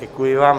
Děkuji vám.